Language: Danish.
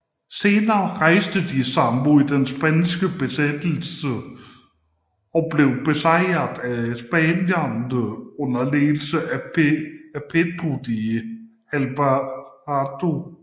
Senere rejste de sig mod den spanske besættelse og blev besejret af spanierne under ledelse af Pedro de Alvarado